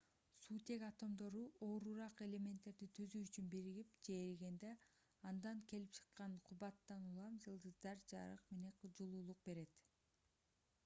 суутек атомдору оорураак элементтерди түзүү үчүн биригип же эригенде андан келип чыккан кубаттан улам жылдыздар жарык менен жылуулук берет